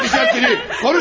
Cəbərdəcəm səni!